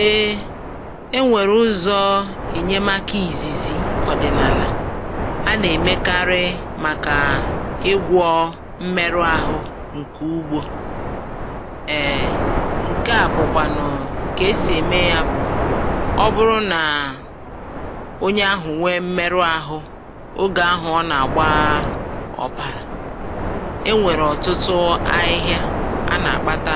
E nwere ụzọ enyemaka ka izizi ọdịnala a na-emekarị maka ịgwọ mmerụ ahụ nke ugbo. Ee, nke a bụkwanu otú e si eme ya: ọ bụrụ na onye ahụ nwee mmerụ ahụ oge ahụ ọ na-agba ọbara, e nwere ọtụtụ ahịhịa a na-akpata